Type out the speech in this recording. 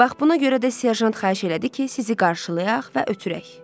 Bax buna görə də Serjant xahiş elədi ki, sizi qarşılayaq və ötürək.